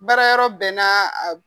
Baara yɔrɔ bɛɛ n'a a.